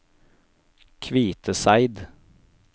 Kviteseid